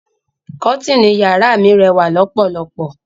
Kọ́tìnì yàrá mi rẹ́wà lọ́pọ̀lọpọ̀.